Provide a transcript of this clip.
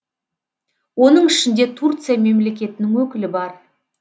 оның ішінде турция мемлекетінің өкілі бар